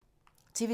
TV 2